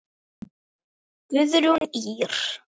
Guðrún Ýr.